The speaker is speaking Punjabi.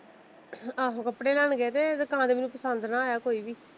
ਆਹੋ ਕਪੜੇ ਲੈਣ ਗਏ ਤਾਂ ਦੁਕਾਨ ਚ ਮੈਨੂੰ ਪਸੰਦ ਨਾ ਆਇਆ ਕੋਈ ਵੀ।